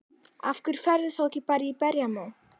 Af hverju ferðu þá ekki bara í berjamó?